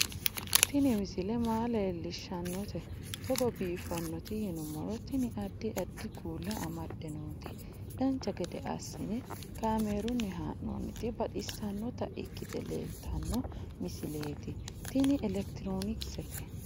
Tini misile maa leellishshannote togo biiffinoti yinummoro tini. addi addi kuula amadde nooti dancha gede assine kaamerunni haa'noonniti baxissannota ikkite leeltanno misileeti tini elekitiroonkisete